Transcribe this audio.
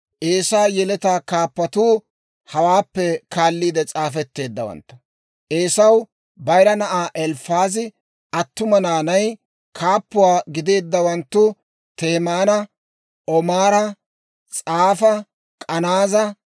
Eesaa yeletaa kaappatuu hawaappe kaalliide s'aafetteeddawantta. Eesaw bayira na'aa Elifaaza attuma naanay, kaappuwaa gideeddawanttu Temaana, Omaara, S'afa, K'anaaza,